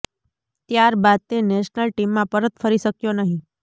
ત્યાર બાદ તે નેશનલ ટીમમાં પરત ફરી શક્યો નહી